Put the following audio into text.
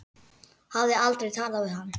Hafði aldrei talað við hann.